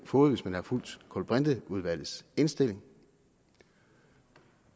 fået hvis man havde fulgt kulbrinteudvalgets indstilling